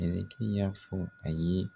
Mɛlɛkɛ y'a fɔ a ye